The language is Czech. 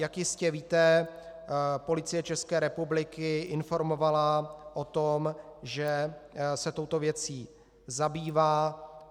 Jak jistě víte, Policie České republiky informovala o tom, že se touto věcí zabývá.